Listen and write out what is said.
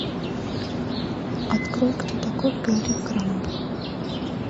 открой кто такой гарри крамб